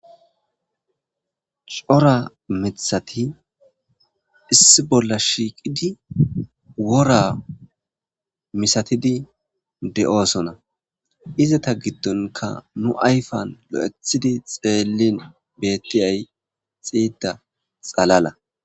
Co,ra mithati issi bolla shiqidi wora misatidi de, osona izata gidonka nu ayifen betidi xelin betiyayi xida xalala